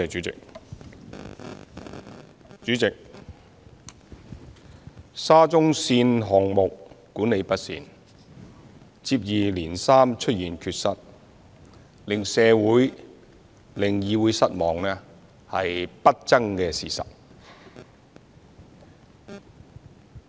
主席，沙中線項目管理不善，接二連三出現缺失，令社會、議會失望是不爭的事實。